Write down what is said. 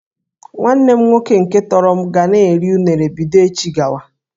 Nwanne m nwoke nke m tọrọ ga na-eri unere bido echi gawa